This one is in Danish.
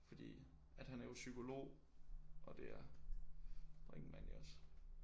Fordi at han er jo psykolog og det er Brinkmann jo også